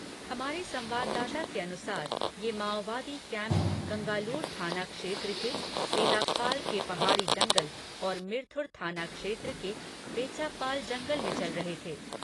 हमारे संवाददाता के अनुसार ये माओवादी कैंप गंगालूर थाना क्षेत्र के तेद्दापाल के पहाड़ी जंगल और मिरतुर थाना क्षेत्र के बेच्चापाल जंगल में चल रहे थे।